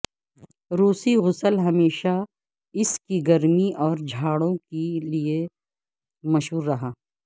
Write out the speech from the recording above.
روسی غسل ہمیشہ اس کی گرمی اور جھاڑو کے لئے مشہور رہا